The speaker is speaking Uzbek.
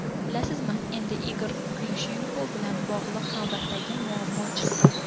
Bilasizmi, endi Igor Kriushenko bilan bog‘liq navbatdagi muammo chiqdi.